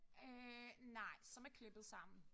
Øh nej som er klippet sammen